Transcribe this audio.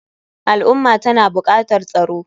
Al ummah tana bukatar tsaro.